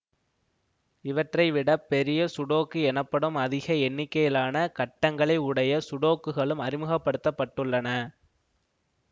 இவற்றை விட பெரிய சுடோக்கு எனப்படும் அதிக எண்ணிக்கையிலான கட்டங்களை உடைய சுடோக்குகளும் அறிமுகப்படுத்த பட்டுள்ளன